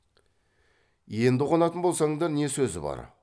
енді қонатын болсаңдар не сөзі бар